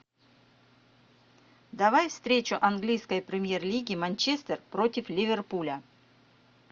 давай встречу английской премьер лиги манчестер против ливерпуля